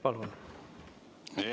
Palun!